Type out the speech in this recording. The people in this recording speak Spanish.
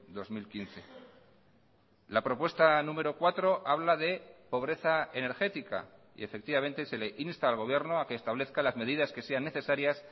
dos mil quince la propuesta número cuatro habla de pobreza energética y efectivamente se le insta al gobierno a que establezca las medidas que sean necesarias